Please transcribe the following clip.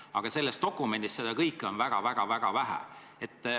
Aga selles dokumendis seda kõike on väga-väga-väga vähe.